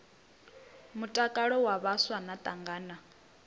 mutakalo wa vhaswa na thangana